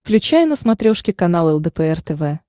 включай на смотрешке канал лдпр тв